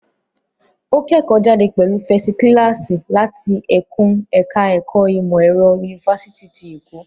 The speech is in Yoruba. Ó kẹ́kọ̀ọ́jáde pẹ̀lú fẹsi kílàásí láti ẹkùn ẹ̀ká ẹ̀kọ́ ìmọ̀ ẹ̀rọ, Yunifásitì ti Èkó.